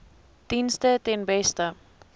dienste ten beste